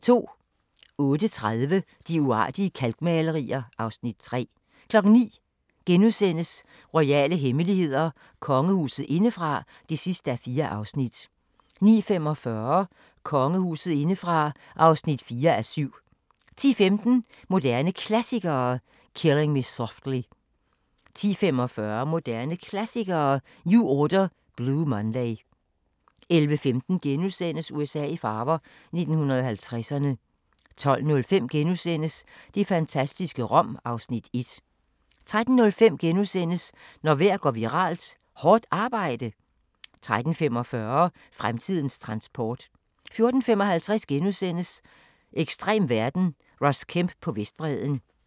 08:30: De uartige kalkmalerier (Afs. 3) 09:00: Royale hemmeligheder: Kongehuset indefra (4:4)* 09:45: Kongehuset indefra (4:7) 10:15: Moderne Klassikere: Killing Me Softly 10:45: Moderne Klassikere: New Order – Blue Monday 11:15: USA i farver – 1950'erne * 12:05: Det fantastiske Rom (Afs. 1)* 13:05: Når vejr går viralt – Hårdt arbejde? * 13:45: Fremtidens transport 14:55: Ekstrem verden – Ross Kemp på Vestbredden *